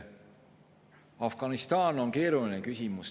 Afganistan on keeruline küsimus.